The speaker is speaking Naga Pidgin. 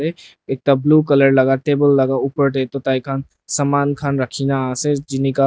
ekta blue colour laka table laka opor tae takhan saman khan rakhina ase jinika--